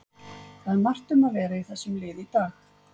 Það er margt um að vera í þessum lið í dag.